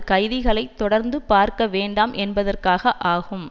கைதிகளை தொடர்ந்து பார்க்க வேண்டாம் என்பதற்காக ஆகும்